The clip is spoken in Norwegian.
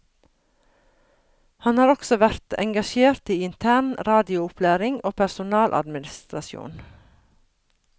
Han har også vært engasjert i intern radioopplæring og personaladministrasjon.